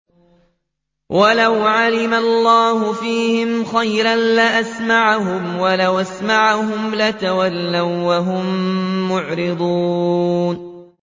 وَلَوْ عَلِمَ اللَّهُ فِيهِمْ خَيْرًا لَّأَسْمَعَهُمْ ۖ وَلَوْ أَسْمَعَهُمْ لَتَوَلَّوا وَّهُم مُّعْرِضُونَ